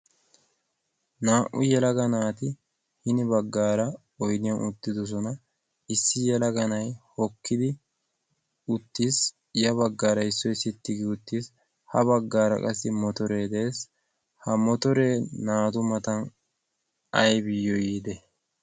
naa"u yelaga naati hini baggaara oiniyan uttidosona issi yalaganay hokkidi uttiis ya baggaara issoi sittigi uttiis. ha baggaara qassi motoree de'es ha motoree naatu matan aibiyyo yiide?